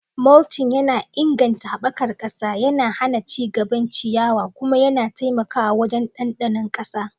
Mulching yana inganta haɓakar ƙasa, yana hana ci gaban ciyawa, kuma yana taimakawa wajen ɗanɗano ƙasa.